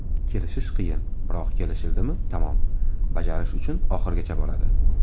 Kelishish qiyin, biroq kelishildimi tamom, bajarish uchun oxirigacha boradi.